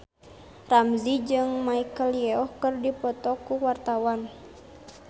Ramzy jeung Michelle Yeoh keur dipoto ku wartawan